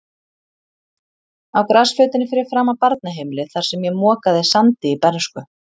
Á grasflötinni fyrir framan barnaheimilið, þar sem ég mokaði sandi í bernsku.